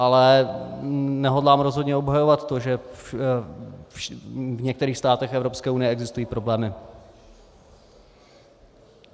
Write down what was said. Ale nehodlám rozhodně obhajovat to, že v některých státech Evropské unie neexistují problémy.